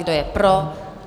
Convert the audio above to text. Kdo je pro?